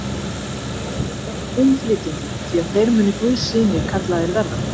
Sælir eru friðflytjendur, því að þeir munu guðs synir kallaðir verða.